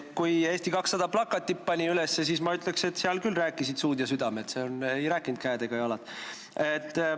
Kui Eesti 200 pani plakatid üles, siis, ma ütleks, seal küll rääkisid suud ja südamed, seal ei rääkinud käed ega jalad.